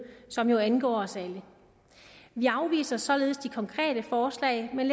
som angår os alle vi afviser således de konkrete forslag men